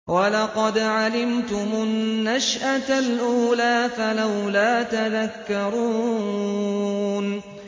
وَلَقَدْ عَلِمْتُمُ النَّشْأَةَ الْأُولَىٰ فَلَوْلَا تَذَكَّرُونَ